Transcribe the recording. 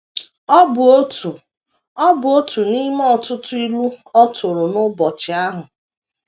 Ọ bụ otu Ọ bụ otu n’ime ọtụtụ ilu ọ tụrụ n’ụbọchị ahụ.